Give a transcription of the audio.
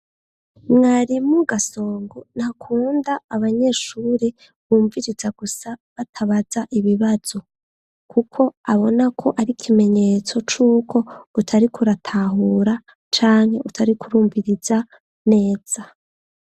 Mwari mu gasongo ntakunda abanyeshure bumviriza gusa batabaza ibibazo, kuko abona ko ari ikimenyetso c'uko utari kuratahura canke utari kurumviriza neza.